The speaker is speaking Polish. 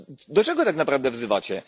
Do czego tak naprawdę wzywacie?